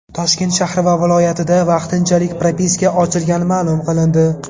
Toshkent shahri va viloyatida vaqtinchalik propiska ochilgani ma’lum qilindi.